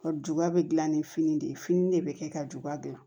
Ka juba bɛ dilan ni fini de ye fini de bɛ kɛ ka juba dilan